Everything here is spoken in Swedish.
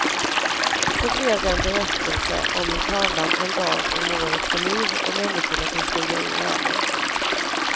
Så det blev en berättelse om hur tavlan en dag om året får liv och människorna kan stiga ur ramen.